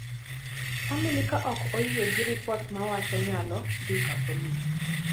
famili ka ok oyie gi ripot to wach nyalo dhi ka polis